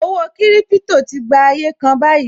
Owó kiripito tí gba ayé kan báyìí